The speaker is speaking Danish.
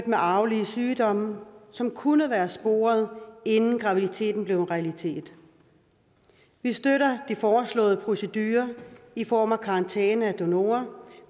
med arvelige sygdomme som kunne have været sporet inden graviditeten blev en realitet vi støtter de foreslåede procedurer i form af karantæne af donorer